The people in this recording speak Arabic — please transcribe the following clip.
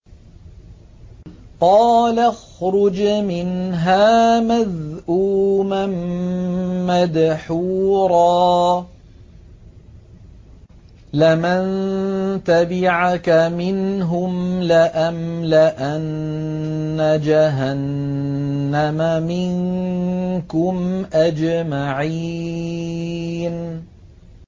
قَالَ اخْرُجْ مِنْهَا مَذْءُومًا مَّدْحُورًا ۖ لَّمَن تَبِعَكَ مِنْهُمْ لَأَمْلَأَنَّ جَهَنَّمَ مِنكُمْ أَجْمَعِينَ